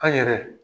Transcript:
An yɛrɛ